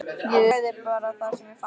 Ég sagði bara það sem mér fannst.